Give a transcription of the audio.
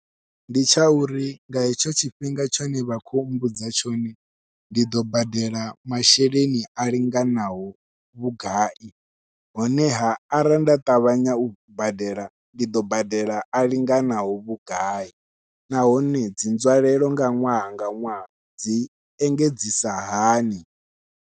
Ndi tsha uri nga etsho tshifhinga tshine vha khou mbudza tshone ndi ḓo badela masheleni a linganaho vhugai, honeha arali nda ṱavhanya u badela ndi ḓo badela a linganaho vhugai nahone dzi nzwalelo nga ṅwaha nga ṅwaha dzi engedzisa hani.